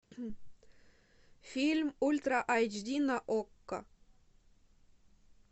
фильм ультра эйч ди на окко